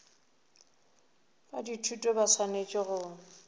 ba dithuto ba swanetše go